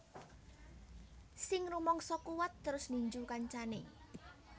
Sing rumangsa kuwat terus ninju kancane